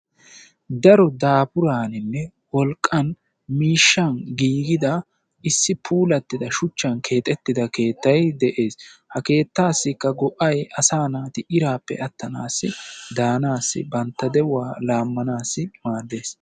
Daro daafuraaninne wolqqan miishshan giigida issi puulattida shuchchan keexettida keettay de'ees. Ha keettaassikka go"ay asaa na'ati iraappe attanaassi, daanaassi bantta de'uwa laammanaasi maaddees.